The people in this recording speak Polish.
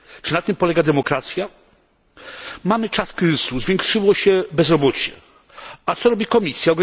Czy na tym polega demokracja? Mamy czas kryzysu, zwiększyło się bezrobocie, a co robi Komisja?